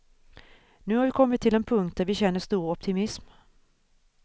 Nu har vi kommit till en punkt där vi känner stor optimism.